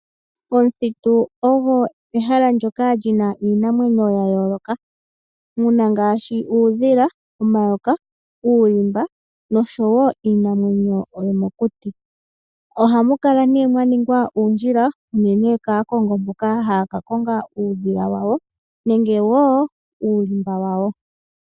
Omuthitu ogo ehala ndyoka li na iinamwenyo ya yooloka muna ngaashi uudhila, omayoka ,uulimba nosho wo iinamwenyo yomokuti. Ohamu kala nee mwa ningwa uundjila unene kaakongo mboka haya ka konga uudhila wawo nenge woo uulimba wawo.